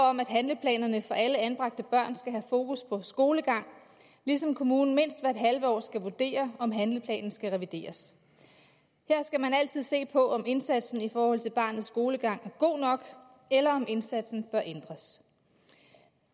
om at handleplanerne for alle anbragte børn skal have fokus på skolegangen ligesom kommunen mindst hvert halve år skal vurdere om handleplanen skal revideres her skal man altid se på om indsatsen i forhold til barnets skolegang er god nok eller om indsatsen bør ændres